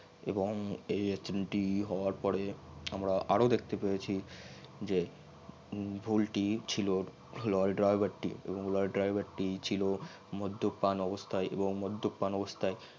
এবং এই accident টি হবার পরে মারা আরও দেখতে পায়েছি যে ভুল টি ছিল লরি driver টি এবং লরি diver টি ছিল মদ্যপান অবস্থাই এবং মদ্যপান অবস্থাই